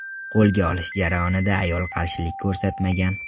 Qo‘lga olish jarayonida ayol qarshilik ko‘rsatmagan.